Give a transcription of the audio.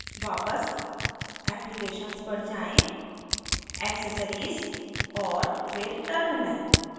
वापस applications पर जाएँ accessories और फिर terminal